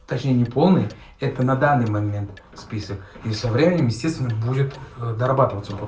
точнее неполная это на данный момент список и со временем естественным будет дорабатываться